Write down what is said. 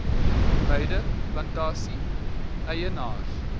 beide plantasie eienaars